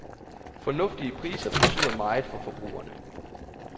Fornuftige priser betyder meget for forbrugerne.